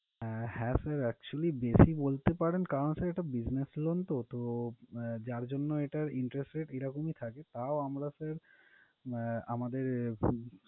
আহ হ্যাঁ sir actually বেশি বলতে পারেন কারণ, এটা sir business loan তো তো আহ যার জন্য এটার interest rate এরকমই থাকে। তাও আমরা sir আহ আমাদের